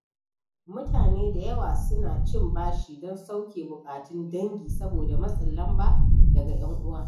Mutane da yawa suna cin bashi don sauke buƙatun dangi saboda matsin lamba daga 'yan uwan.